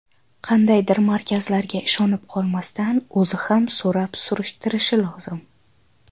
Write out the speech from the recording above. Qandaydir markazlarga ishonib qolmasdan o‘zi ham so‘rab surishtirishi lozim.